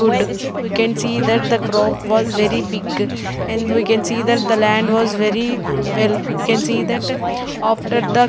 wood we can see that the crop was very big and we can see that the land was very well we can see that after the--